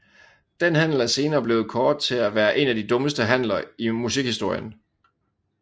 Den handel er senere blevet kåret til at være en af de dummeste handler i musikhistorien